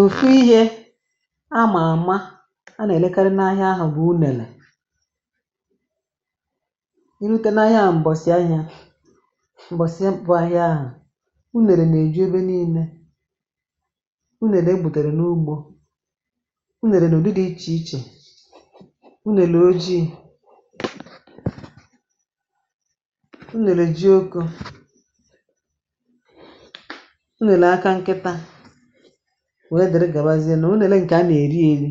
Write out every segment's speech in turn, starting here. Ofú ihe a mà àma a nà èlekari n’ahịa ahụ̇ bụ unèlè, i rutė n’ahịa m̀bọ̀sì ahịa m̀bọ̀sì bụ̇ ahịa ahụ̇ unèlè na èju ebe n’ile, unèlè e bùtèrè n’ugbȯ, unèlè n'ụdị di ichè ichè, unèlè ojii, unèlè ji oko, unèlè aka nkịtȧ, wee dịrị gàbazie, nà unèlè ǹkè a nà-èri eri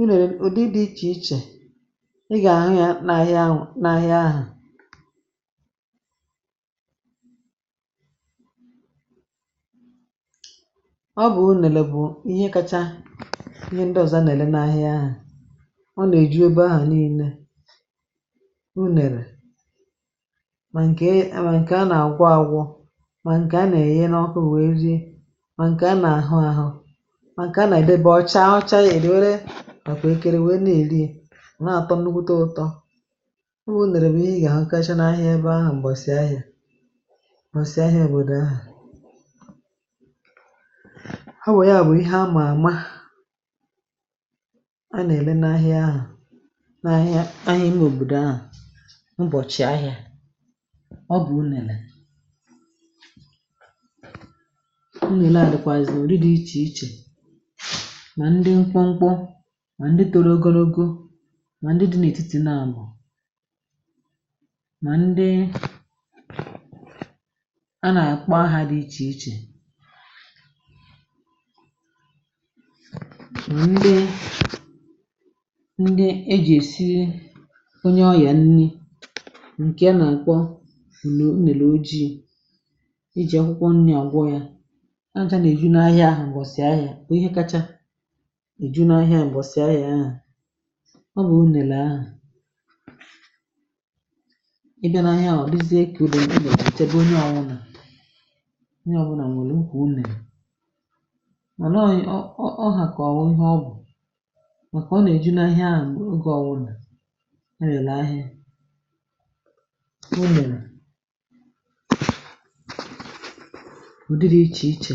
unèlè ụ̀dị dị̇ ichè ichè i gà-ahụ̀ ya n’ahịa ahụ̀ na ahịa ahụ ọ bụ̀ unèlè bu ihe kacha ihe ndị ọ̀zọ a nà-èle n’ahịa ahụ̀, ọna èju ebe ahụ niile, unèlè, mà ǹkè a mà nkè a nà-àgwọ agwọ̇, mà ǹkè a nà-èye na ọkụ̇ wee rie, mà ǹkè a nà-àhụ àhụ, mà ǹkè a nà-èdebe ọcha ọcha yȧ èwere ọkpà ekere wee na-èli ya ona-àtọ nnukwute ụtọ, ọ bụ unèlè bu ihe i gà-àhụkacha n’ahịa ebe ahụ̀ m̀bọ̀sị̀ ahịà, m̀bọ̀sị̀ ahịa òbòdò ahụ̀, ọ̀ bú ya bụ̀ ihe àma àma a nà-ère n’ahịa ahu na ahịa ahịa ime òbòdò ahụ̀ ubochi ahịa, ọ bụ̀ unèlè. Unèlè à dịkwàzị̀ udi dị̇ ichè ichè, mà ndị nkpụ̇ ṅkpụ, mà ndị toro ogologo, mà ndị dị̇ n’ètitì n’àbụ̀, mà ndị a nà-àkpọ aha di ichè ichè, ma ndị ndị e ji esi onye ọyà nni ǹkẹ nà àkpo unèlè ojii̇ ejì ọkwụkwọ nni̇ ọ̀gwo ya aja nà èju na ahịȧ ahụ̀ m̀bọ̀sì ahịȧ bú ihe kacha èjunu ahịȧ m̀bọ̀sì ahịȧ ahụ̀, ọ bụ̀ unèlè ahụ̀, ị bia nà ahịa hụ ọ dizie ka unèlè odi be onye ọwụnà, onye ọbụnà onwèrè ụkwụ unèlè, mà nà ọ ọ hà kà ọ wụ̀ ihe ọ bụ̀ màkà ọ nà èjunu ahịȧ oge ọwụnà elele ahịȧ, unèlè udị dị iche ichè.